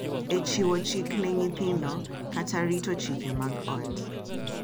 E chiwo chik ne nyithindo kata rito chike mag ot.